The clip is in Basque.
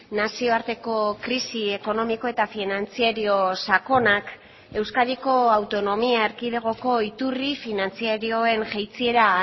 nazioarteko krisi ekonomiko eta finantzario sakonak euskadiko autonomia erkidegoko iturri finantzarioen jaitsiera